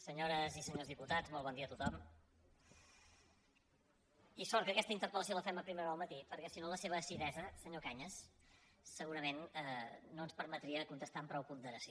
senyores i senyors dipu·tats molt bon dia a tothom i sort que aquesta interpel·lació la fem a primera hora del matí perquè si no la seva acidesa senyor cañas segurament no ens per·metria contestar amb prou ponderació